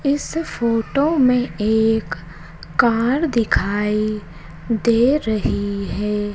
इस फोटो में एक कार दिखाई दे रही है।